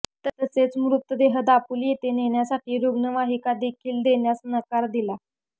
तसेच मृतदेह दापोली येथे नेण्यासाठी रूग्णवाहिकादेखील देण्यास नकार दिला